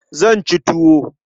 Zan ci tuwo.